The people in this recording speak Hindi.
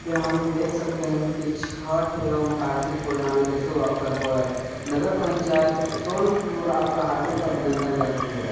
यहँ हम देख सकते हैं की छठ एवं कार्तिक पुर्णमा के शुभ अवसर पर नगर पंचायत सोनपुर आपका हार्दिक अभिनंदन करती है।